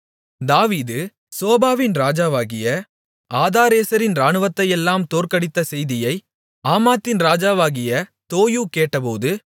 தாவீது சோபாவின் ராஜாவாகிய ஆதாரேசரின் இராணுவத்தையெல்லாம் தோற்கடித்த செய்தியை ஆமாத்தின் ராஜாவாகிய தோயூ கேட்டபோது